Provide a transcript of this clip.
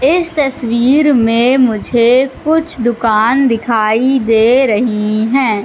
इस तस्वीर में मुझे कुछ दुकान दिखाई दे रही हैं।